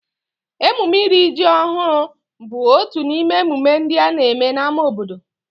Emume iri ji ọhụrụ bụ otu n'ime emume ndị a na-eme n'ámá obodo